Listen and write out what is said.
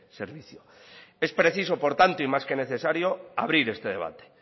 servicio es preciso por tanto y más que necesario abrir este debate